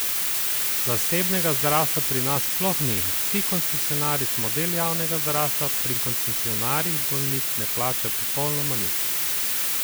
Zasebnega zdravstva pri nas sploh ni, vsi koncesionarji smo del javnega zdravstva, pri koncesionarju bolnik ne plača popolnoma nič!